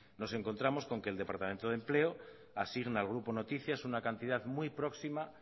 nos encontramos con que el departamento de empleo asigna al grupo noticias una cantidad muy próxima